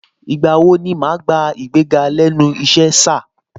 Ìgbà wo ni màá gbà igbéga lẹ́nu ìṣe, sà?